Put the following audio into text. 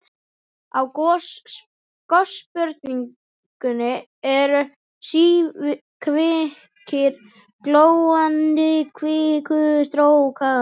Á gossprungunni eru síkvikir glóandi kvikustrókar.